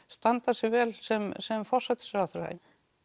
standa sig vel sem sem forsætisráðherra